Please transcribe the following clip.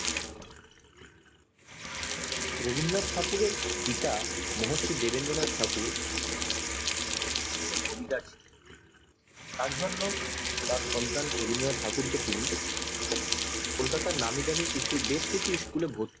রবীন্দ্রনাথ ঠাকুর এর পিতা মহর্ষি দেবেন্দ্রনাথ ঠাকুর তার জন্য তার সন্তান রবীন্দ্রনাথ ঠাকুরকে তিনি কলকাতার নামি দামি বেশ কিছু school এ ভর্তি